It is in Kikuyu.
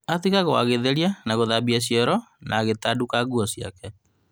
Atigagwo agĩtheria na gũthambia cioro na agĩtanduka nguo ciake